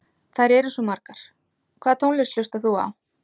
Þær eru svo margar Hvaða tónlist hlustar þú á?